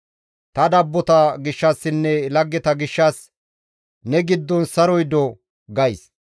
Ta dabbota gishshassinne laggeta gishshas «Ne giddon saroy do!» gays.